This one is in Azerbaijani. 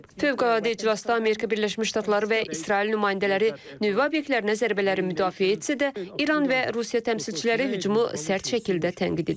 Fövqəladə iclasda Amerika Birləşmiş Ştatları və İsrail nümayəndələri nüvə obyektlərinə zərbələri müdafiə etsə də, İran və Rusiya təmsilçiləri hücumu sərt şəkildə tənqid edib.